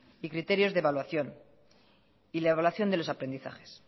y criterios de evaluación y la evaluación de los aprendizajes